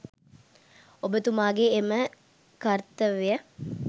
ඔබ තුමාගේ එම කර්තව්‍ය